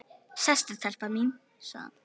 Sestu telpa mín, sagði hann.